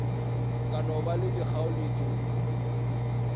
ka no ba le dikgaoletšo